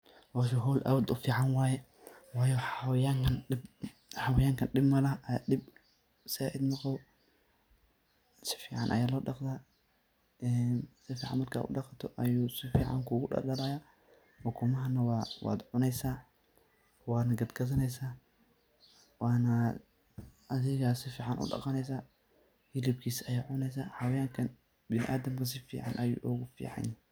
Hooshan wa hool aad iyo u fican, waye wayo xawayanga dib malahoo dib saait maqabo sufacan Aya lo daqtah, een sufican marka u daqatoh ayu sufican kugu daldayo ugumahan wa cuuneysah, Wana katgathaneysah Wana adiga sufican u daqaneeysah helibkisa Aya cuuneysah xawayanka binaadamka sufican ay ugu ficantahay.